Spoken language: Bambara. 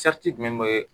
jumɛn bɛ